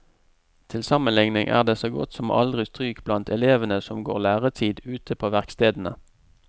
Til sammenligning er det så godt som aldri stryk blant elevene som går læretid ute på verkstedene.